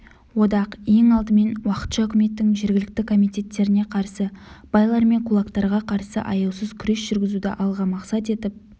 одақ ең алдымен уақытша үкіметтің жергілікті комитеттеріне қарсы байлар мен кулактарға қарсы аяусыз күрес жүргізуді алға мақсат етіп